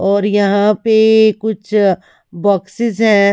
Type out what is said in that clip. और यहां पे कुछ बॉक्सेस है।